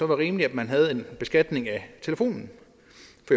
var rimeligt at man havde en beskatning af telefonen